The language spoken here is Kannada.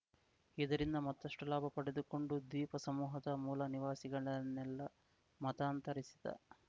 ಇದರಿಂದ ಮತ್ತಷ್ಟುಲಾಭ ಪಡೆದುಕೊಂಡು ದ್ವೀಪ ಸಮೂಹದ ಮೂಲ ನಿವಾಸಿಗಳನ್ನೆಲ್ಲ ಮತಾಂತರಿಸಿದ